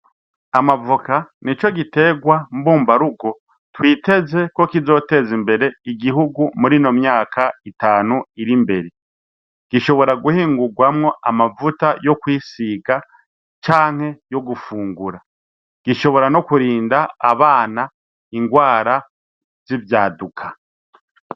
Amavoka nico gitegwa mbumbarugo twiteze ko kizoteza imbere igihugu murino myaka itanu ir'imbere, gishobora guhingugwamwo amavuta yokwisiga canke yo gufungura, gishobora no kurinda abana ingwara z'ivyaduka.